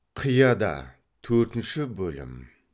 қияда төртінші бөлім